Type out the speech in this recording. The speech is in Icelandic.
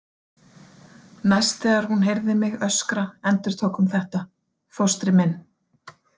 Næst þegar hún heyrði mig öskra endurtók hún þetta: Fóstri minn.